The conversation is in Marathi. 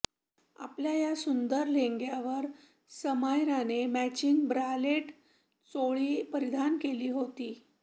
आपल्या या सुंदर लेहंग्यावर समायराने मॅचिंग ब्रालेट चोळी परिधान केली होती